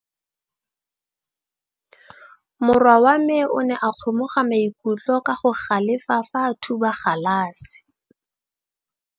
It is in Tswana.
Morwa wa me o ne a kgomoga maikutlo ka go galefa fa a thuba galase.